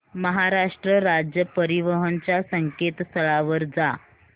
महाराष्ट्र राज्य परिवहन च्या संकेतस्थळावर जा